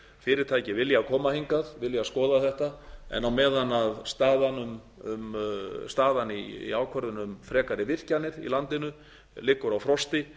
fyrirtæki vilja koma hingað vilja skoða þetta en á meðan staðan í ákvörðun um frekari virkjanir í landinu liggur á frosti